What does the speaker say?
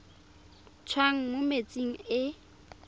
tswang mo metsing a e